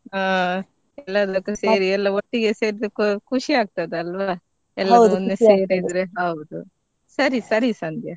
ಹಾ ಎಲ್ಲ ಎಲ್ಲ ಒಟ್ಟಿಗೆ ಸೇರಿದ್ದಕ್ಕೂ ಖುಷಿ ಆಗ್ತದಲ್ವ ಎಲ್ಲರೂ ಒಮ್ಮೆ ಸೇರಿದ್ರೆ ಹೌದು ಸರಿ ಸರಿ ಸಂಧ್ಯಾ.